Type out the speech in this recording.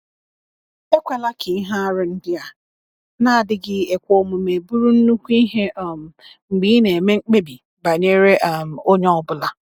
Ekwela ka ihe aru ndị a na-adịghị ekwe omume bụrụ nnukwu ihe um mgbe ị na-eme mkpebi banyere um onye ọ bụla.